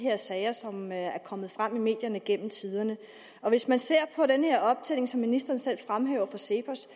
sager som er kommet frem i medierne gennem tiderne hvis man ser på den her optælling som ministeren selv fremhæver fra cepos